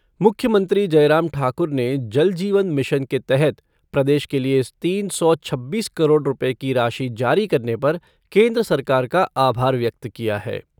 मुख्यमंत्री जयराम ठाकुर ने जल जीवन मिशन के तहत प्रदेश के लिए तीन सौ छब्बीस करोड़ रुपये की राशि जारी करने पर केन्द्र सरकार का आभार व्यक्त किया है।